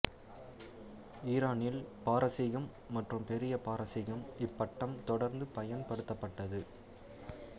ஈரானில் பாரசீகம் மற்றும் பெரிய பாரசீகம் இப்பட்டம் தொடர்ந்து பயன்படுத்தப்பட்டது